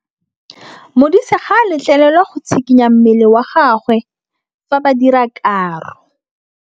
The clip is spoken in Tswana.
Modise ga a letlelelwa go tshikinya mmele wa gagwe fa ba dira karô.